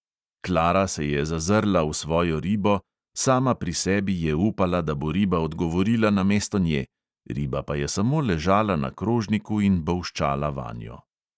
Klara se je zazrla v svojo ribo, sama pri sebi je upala, da bo riba odgovorila namesto nje, riba pa je samo ležala na krožniku in bolščala vanjo.